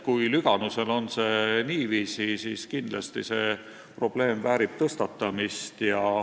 Kui Lüganusel on niiviisi, siis kindlasti see probleem väärib tõstatamist.